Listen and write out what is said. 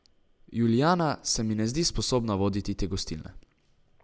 Julijana se mi ne zdi sposobna voditi te gostilne.